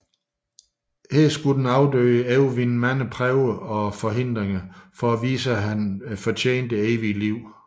Her skulle den afdøde overvinde mange prøver og forhindringer for at vise at han fortjener det evige efterliv